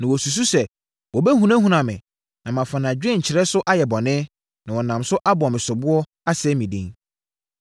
Na wɔsusu sɛ wɔbɛhunahuna me, na mafa nʼadwenkyerɛ no so ayɛ bɔne, na wɔnam so abɔ me soboɔ, asɛe me din.